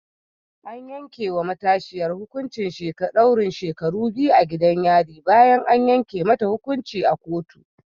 An yanke wa matashiyar hukuncin daurin shekaru biyu a gidan yari bayan an yanke mata hukunci a kotu